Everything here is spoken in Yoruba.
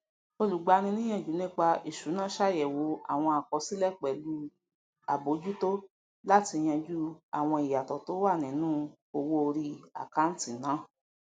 olùgbaniníyànjú nípa ìṣúná ṣàyẹwò àwọn àkọsílẹ pẹlú àbójútó láti yanjú àwọn ìyàtọ tó wà nínú owó orí àkántì náà